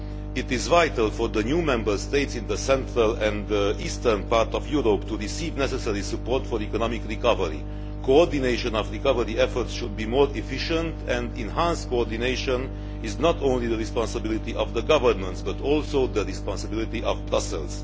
It is vital for the new Member States in the central and eastern part of Europe to receive necessary support for economic recovery. Coordination of recovery efforts should be more efficient, and enhanced coordination is not only the responsibility of the governments but also the responsibility of Brussels.